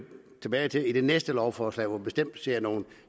tilbage til i det næste lovforslag hvor vi bestemt ser nogle